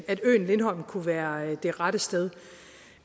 at øen lindholm kunne være det rette sted